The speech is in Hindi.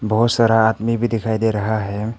बहोत सारा आदमी भी दिखाई दे रहा है।